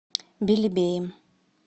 белебеем